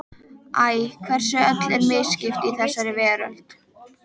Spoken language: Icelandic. Æ, hversu öllu er misskipt í þessari veröld.